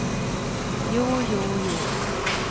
jo jo jo